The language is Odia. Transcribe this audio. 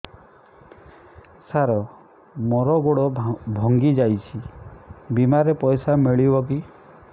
ସାର ମର ଗୋଡ ଭଙ୍ଗି ଯାଇ ଛି ବିମାରେ ପଇସା ମିଳିବ କି